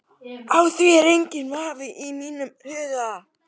Á því er enginn vafi í mínum huga.